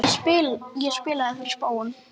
Ég spilaði fyrir spóann.